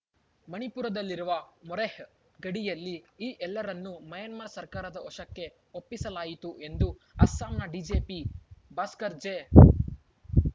ಮಣಿಪುರದಲ್ಲಿರುವ ಮೊರೆಹ್‌ ಗಡಿಯಲ್ಲಿ ಈ ಎಲ್ಲರನ್ನು ಮ್ಯಾನ್ಮಾರ್‌ ಸರ್ಕಾರದ ವಶಕ್ಕೆ ಒಪ್ಪಿಸಲಾಯಿತು ಎಂದು ಅಸ್ಸಾಂನ ಡಿಜಿಪಿ ಗಡಿ ಭಾಸ್ಕರ್‌ ಜೆ